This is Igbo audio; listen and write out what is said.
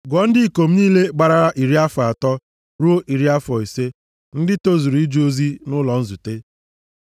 Gụọ ndị ikom niile gbarala iri afọ atọ ruo iri afọ ise, ndị tozuru ije ozi nʼụlọ nzute.